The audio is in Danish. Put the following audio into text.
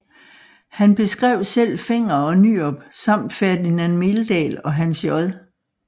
Han beskrev selv Fenger og Nyrop samt Ferdinand Meldahl og Hans J